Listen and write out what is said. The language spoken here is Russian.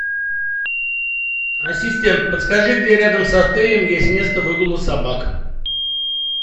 ассистент подскажи где рядом с отелем есть место выгула собак